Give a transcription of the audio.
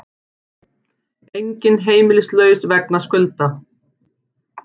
Enginn heimilislaus vegna skulda